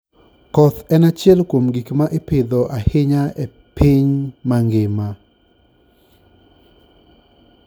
Koth en achiel kuom gik ma ipidho ahinya e piny mangima.